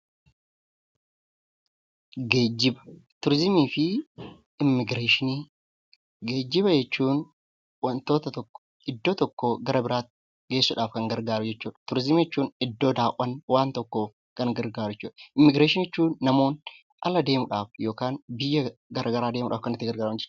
Geejjiba, turizimii fi immigireeshinii. Geejjiba jechuun wantoota tokko iddoo tokkoo gara iddoo biraatti geessuudhaaf kan gargaaru jechuudha. Turizimii jechuun iddo daawwannaa waan tokko daawwachuuf kan gargaaru jechuu dha. Immigireeshinii jechuun immoo namoonni ala deemuudhaaf yookiin biyya garaa garaa deemuudhaaf kan itti gargaaraman jechuudha.